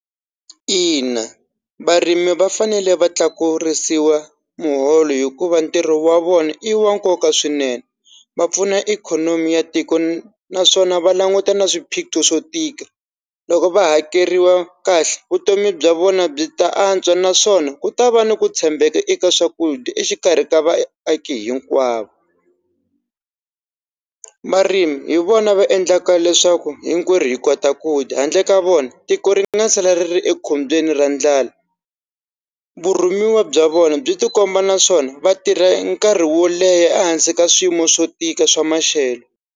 Ina varimi va fanele va tlakurisiwa muholo hikuva ntirho wa vona i wa nkoka swinene va pfuna ikhonomi ya tiko naswona va languta na swiphiqo swo tika loko va hakeriwa kahle vutomi bya vona byi ta antswa naswona ku ta va ni ku tshembeka eka swakudya exikarhi ka vaaki hinkwavo marimi hi vona va endlaka leswaku hinkwerhu hi kota ku dya handle ka vona tiko ringe na chela ri ekhombyeni ra ndlala vurimi wa bya vona byi tikomba naswona vatirha nkarhi wo leha ehansi ka swiyimo swo tika swa maxelo.